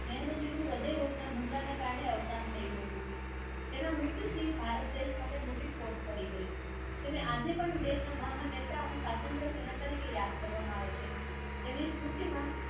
હૃદય રોગના હુમલાના કારણે અવસાન થયું હતું. તેના મૃત્યુથી ભારત દેશ માટે મોટી ખોટ પડી ગઈ. તેને આજે પણ દેશના મહાન નેતા અને સ્વાતંત્ર્ય સેના તરીકે યાદ કરવામાં આવે છે. તેમને સ્મૃતિમાં